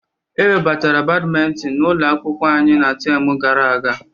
Ewebatara Badminton n'ụlọ akwụkwọ anyị na temu gara aga.